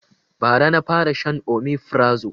Ba ra na fara shan omefrazo